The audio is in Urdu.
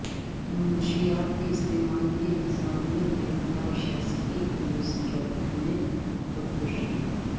منشیات کے استعمال کے الزام میں گرفتار شخص کی پولیس چوکی میں خودکشی